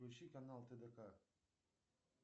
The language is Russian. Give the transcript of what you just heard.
включи канал тдк